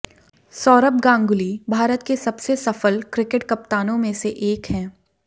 सौरभ गांगुली भारत के सबसे सफल क्रिकेट कप्तानों में से एक हैं